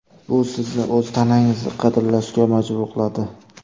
Bu sizni o‘z tanangizni qadrlashga majbur qiladi.